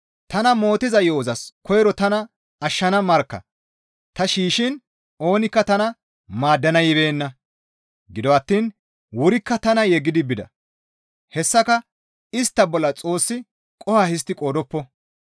Tana mootiza yo7ozas koyro tana ashshana markka ta shiishshiin oonikka tana maaddana yibeenna; gido attiin wurikka tana yeggidi bida. Hessaka istta bolla Xoossi qoho histti qoodoppo.